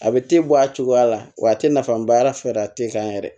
A bɛ te bɔ a cogoya la wa a tɛ nafaba y'a la fɛɛrɛ tɛ kan yɛrɛ